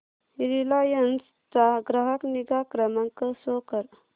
Reliance चा ग्राहक निगा क्रमांक शो कर